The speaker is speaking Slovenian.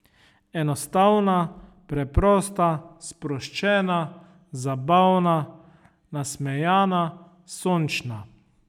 Enostavna, preprosta, sproščena, zabavna, nasmejana, sončna ...